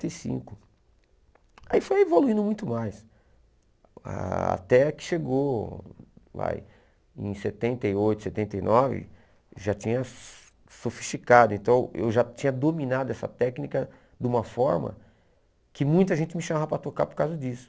e cinco. Aí foi evoluindo muito mais, até que chegou ah em setenta e oito, setenta e nove, já tinha sofisticado, então eu já tinha dominado essa técnica de uma forma que muita gente me chamava para tocar por causa disso.